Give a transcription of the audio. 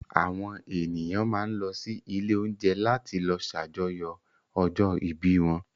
Àwọn ènìyàn máa ń lọ ilé-oúnjẹ láti lọ ṣàjọyọ̀ ọjọ́-ìbí wọn.